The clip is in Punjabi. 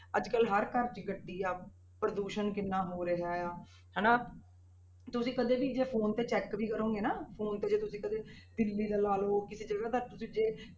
ਅੱਜ ਕੱਲ੍ਹ ਹਰ ਘਰ 'ਚ ਗੱਡੀ ਆ, ਪ੍ਰਦੂਸ਼ਣ ਕਿੰਨਾ ਹੋ ਰਿਹਾ ਆ, ਹਨਾ ਤੁਸੀਂ ਕਦੇ ਵੀ ਜੇ phone ਤੇ check ਵੀ ਕਰੋਂਗੇ ਨਾ phone ਤੇ ਜੇ ਤੁਸੀਂ ਕਦੇ ਦਿੱਲੀ ਦਾ ਲਾ ਲਓ, ਕਿਸੇ ਜਗ੍ਹਾ ਦਾ ਤੁਸੀਂ ਜੇ